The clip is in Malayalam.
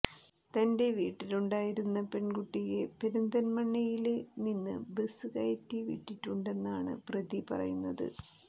തന്റെ വീട്ടിലുണ്ടായിരുന്ന പെണ്കുട്ടിയെ പെരിന്തല്മണ്ണയില് നിന്ന് ബസ് കയറ്റി വിട്ടിട്ടുണ്ടെന്നാണ് പ്രതി പറയുന്നത്